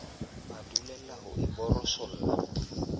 a dulela ho e borosola